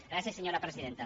gràcies senyora presidenta